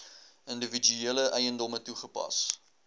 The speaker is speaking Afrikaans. individuele eiendomme toegepas